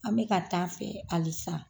An be ka taa fɛ halisa.